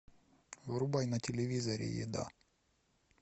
врубай на телевизоре еда